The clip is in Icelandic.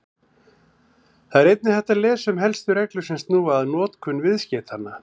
Þar er einnig hægt að lesa um helstu reglur sem snúa að notkun viðskeytanna.